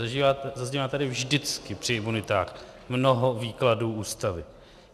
Zaznívá tady vždycky při imunitách mnoho výkladů Ústavy.